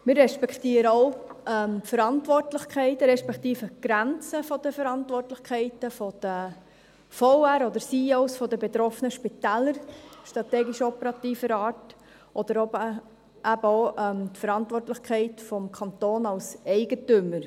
Wir respektieren auch die Verantwortlichkeiten respektive die Grenzen der Verantwortlichkeiten strategisch-operativer Art der Verwaltungsräte oder CEO der betroffenen Spitäler, oder eben auch die Verantwortlichkeit des Kantons als Eigentümer.